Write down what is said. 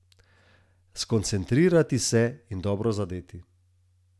Skoncentrirati se in dobro zadeti!